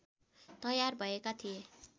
तयार भएका थिए